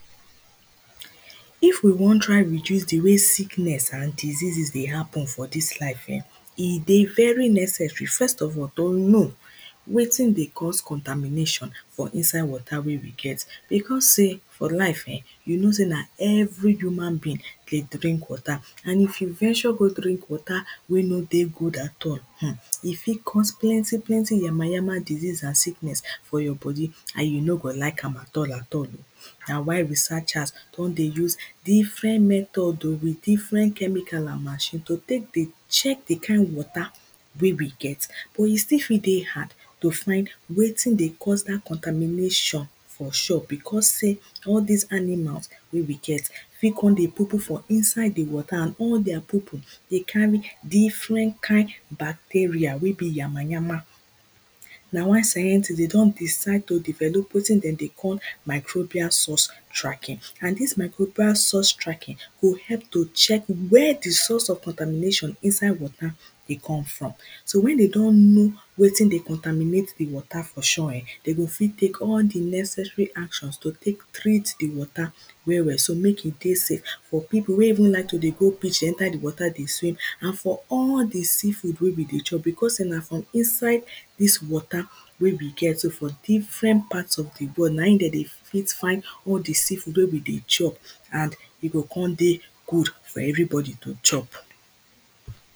if we won try reduce di way sickness and diseasis dey happen for dis life eh e dey very neccessary first of all to know wetin dey cause contamination for inside water wey we get because sey for life eh you know sey na every human being dey drink water an if you venture go drink water wey no dey good at all, e fit cause plenty yamayama ans sicknss inside ur bodi and you no go like am at all na why researchers don dey use different method oh with different chemicals and machine to tek dey check di kind water wey we get. but e still fit dey hard wetin dey cause dat contamination for because sey all dis animals fit kon dey pupu for inside water and all their pupu fit kon dey carry different kind bacerial wey bi yamayama na why scientist de don develo wetin de dey call mytropia sourse tracking and dis traking go help to sourse where dis water dey come from dey come from so wen de don know wetin dey conterminate di water de go fit tek all di neccessary actionsto tek treat di water well well so mek we dey safe for pipu wey even like to dey go enter di water dey swim for all di sea food wey we dey chop because sey na for inside dis water wey we get so for different part of di world na in dey dey fit find all di sea food wey dem dey chop de o kon dey cold for everybodi to chop.